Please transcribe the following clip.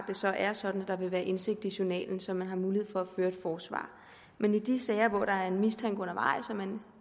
det så er sådan at der vil være indsigt i journalen så man har mulighed for at føre et forsvar men i de sager hvor der er en mistanke undervejs og man